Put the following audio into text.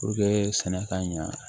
sɛnɛ ka ɲa